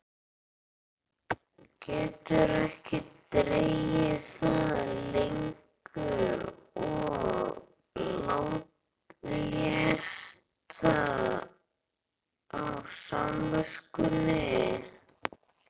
Getur ekki dregið það lengur að létta á samviskunni.